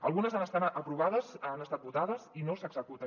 algunes han estat aprovades han estat votades i no s’executen